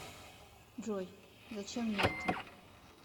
джой зачем мне это